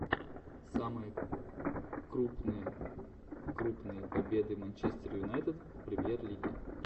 самые крупные крупные победы манчестер юнайтед премьер лиги